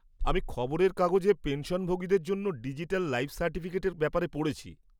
আমি খবরের কাগজে পেনশনভোগীদের জন্য ডিজিটাল লাইফ সার্টিফিকেটের ব্যাপারে পড়েছি।